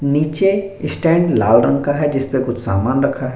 नीचे स्टैंड लाल रंग का है जिसपे कुछ सामान रखा है।